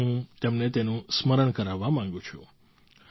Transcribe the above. આજે હું તેમને તેનું સ્મરણ કરાવવા માગું છું